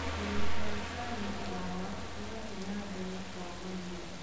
ũrĩmi wa sunflawa ũrathĩ na mbere kwarama.